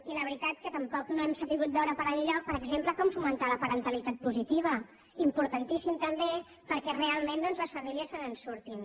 i la veritat que tampoc no hem sabut veure per enlloc per exemple com fomentar la paren·talitat positiva importantíssim també perquè realment doncs les famílies se’n surtin